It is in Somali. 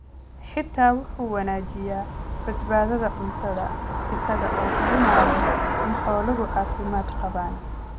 Xitaa waxa uu wanaajiyaa badbaadada cuntada isaga oo hubinaya in xooluhu caafimaad qabaan.